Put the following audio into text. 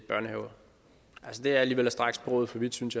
børnehaver det er alligevel at strække sproget for vidt synes